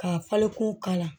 K'a falen kun kala